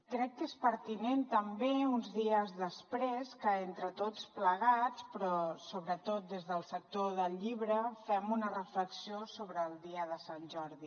crec que és pertinent també uns dies després que entre tots plegats però sobretot des del sector del llibre fem una reflexió sobre el dia de sant jordi